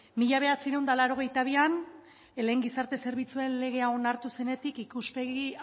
mila bederatziehun eta laurogeita bian lehen gizarte zerbitzuen legea onartu zenetik ikuspegi